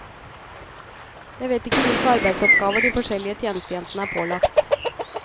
Jeg vet ikke hvilke arbeidsoppgaver de forskjellige tjenestejentene er pålagt.